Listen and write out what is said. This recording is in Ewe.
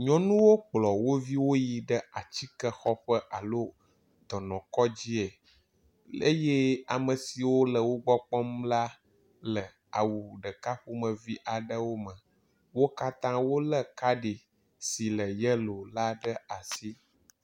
Nyɔnuwo kplɔ wo viwo yi ɖe atsikexɔƒe alo dɔnɔkɔdzie eye ame siwo le wogbɔ kpɔm la le awu ɖeka ƒomevi aɖewo me. Wo katã wo le kaɖi si le yelo la ɖe asi.